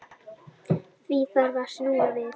Því þarf að snúa við.